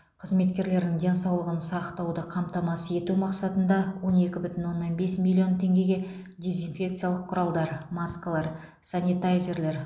қызметкерлерінің денсаулығын сақтауды қамтамасыз ету мақсатында он екі бүтін оннан бес миллион теңгеге дезинфекциялық құралдар маскалар санитайзерлер